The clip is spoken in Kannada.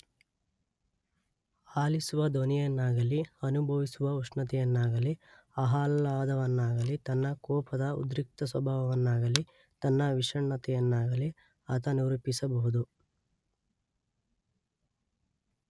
ಆಲಿಸುವ ಧ್ವನಿಯನ್ನಾಗಲಿ ಅನುಭವಿಸುವ ಉಷ್ಣತೆಯನ್ನಾಗಲಿ ಆಹ್ಲಾದವನ್ನಾಗಲಿ ತನ್ನ ಕೋಪದ ಉದ್ರಿಕ್ತಸ್ವಭಾವವನ್ನಾಗಲಿ ತನ್ನ ವಿಷಣ್ಣತೆಯನ್ನಾಗಲಿ ಆತ ನಿರೂಪಿಸಬಹುದು.